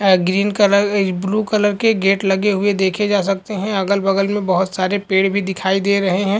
A green colour a blue colour के gate लगे हुए देखे जा सकते हैं। अगल-बगल में बहुत से पेड़ भी दिखाई दे रहे है।